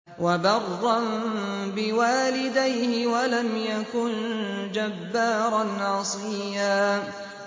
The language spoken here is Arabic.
وَبَرًّا بِوَالِدَيْهِ وَلَمْ يَكُن جَبَّارًا عَصِيًّا